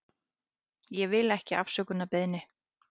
Ég vil ekki afsökunarbeiðni.